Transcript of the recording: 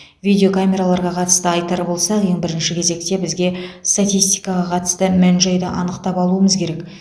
видео камераларға қатысты айтары болса ең бірінші кезекте бізге статистикаға қатысты мән жайды анықтап алуымыз керек